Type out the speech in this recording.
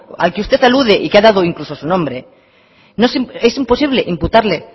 al que usted alude y que ha dado incluso su nombre es imposible imputarle